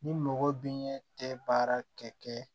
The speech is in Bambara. Ni mɔgɔ dun ɲɛ tɛ baara kɛ